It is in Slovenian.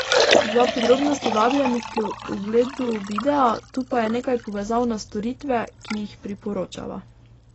Za podrobnosti vabljeni k ogledu videa, tu pa je nekaj povezav na storitve, ki jih priporočava.